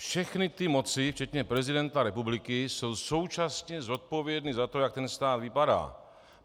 Všechny ty moci včetně prezidenta republiky jsou současně zodpovědné za to, jak ten stát vypadá.